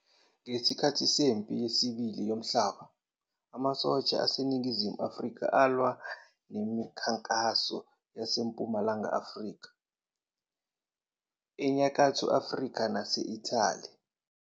Ngesikhathi seMpi Yesibili Yomhlaba, Amasosha aseNingizimu Afrika alwa nemikhankaso yaseMpumalanga Afrika, eNyakatho Afrika nase- Italy.